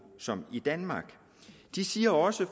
som i danmark de siger også